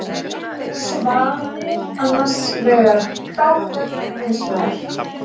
Svanir annarsvegar, krákur hinsvegar.